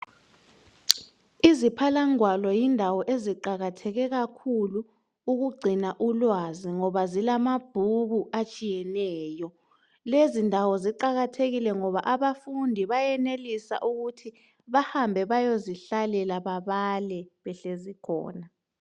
Iziphalangwalo yindawo eziqakatheke kakhulu ukugcina ulwazi ngoba zilamabhuku atshiyeneyo. Lezindawo ziqakathekile ngoba abafundi bayenelisa ukuthi bahambe bayezihlalela babale behlezi khona